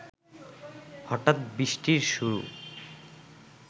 হঠাৎ বৃষ্টির শুরু